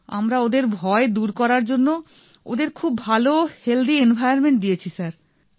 আমরা ওঁদের ভয় দূর করার জন্য ওঁদের খুব ভালো হেলথি এনভাইরনমেন্ট দিয়েছি স্যার